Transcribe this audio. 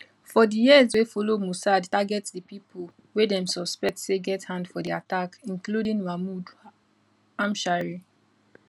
for di years wey followmossad target di pipo wey dem suspect say get hand for di attack including mahmoud hamshari